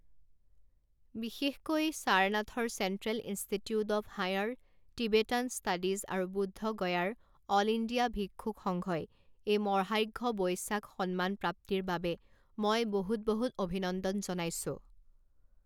বিশেষকৈ, সাৰনাথৰ central institute of higher Tibetan studies আৰু বুদ্ধগয়াৰ অল ইণ্ডিয়া ভিক্ষুক সংঘই এই মহাৰ্ঘ্য বৈশাখ সন্মান প্ৰাপ্তিৰ বাবে মই বহুত বহুত অভিনন্দন জনাইছো।